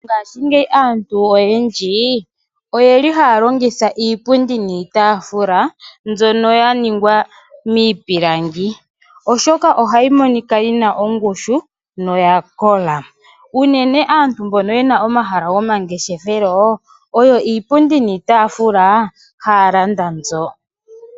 Ngaashingeyi aantu oyendji, oyeli haya longitya iipundi niitaafula mbyono ya ningwa miipilangi oshoka ohayi monika yina ongushu noya kola. Unene aantu mbono yena omahala gomangeshefelo, oyo iipundi niitaafula haya landa mbyo.